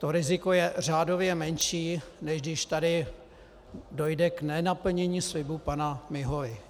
To riziko je řádově menší, než když tady dojde k nenaplnění slibu pana Miholy.